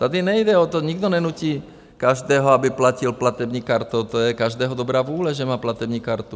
Tady nejde o to, nikdo nenutí každého, aby platil platební kartou, to je každého dobrá vůle, že má platební kartu.